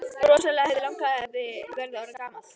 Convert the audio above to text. Rosalega hefði langafi verið orðinn gamall!